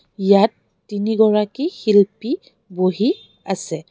ইয়াত তিনিগৰাকী শিল্পী বহি আছে.